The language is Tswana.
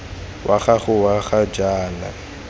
wa gago wa ga jaana